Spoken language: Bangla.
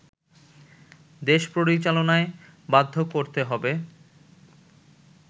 দেশ পরিচালনায় বাধ্য করতে হবে